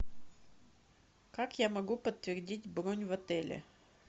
как я могу подтвердить бронь в отеле